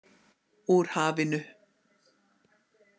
Úr hafinu.